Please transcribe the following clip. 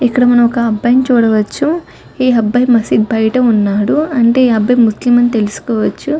ఇక్కడ మనం ఒక అబ్బాయి ని చూడవచ్చు ఈ అబ్బాయి మసీదు బయట ఉన్నాడు అంటే ఇతను ముస్లిం అని తెలుసుకోవచ్చు.